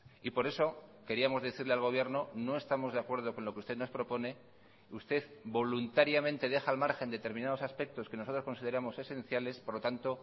y por eso queríamos decirle al gobierno no estamos de acuerdo con lo que usted nos propone usted voluntariamente deja al margen determinados aspectos que nosotros consideramos esenciales por lo tanto